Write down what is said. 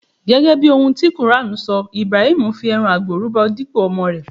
Gẹ́gẹ́ bí ohun ti quran sọ, Ibrahim fí ẹran àgbò rúbọ dípò ọmọ rè.